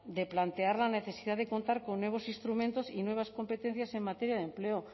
de plantear la necesidad de contar con nuevos instrumentos y nuevas competencias en materia de empleo